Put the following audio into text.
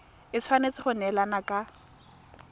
e tshwanetse go neelana ka